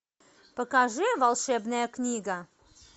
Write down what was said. покажи волшебная книга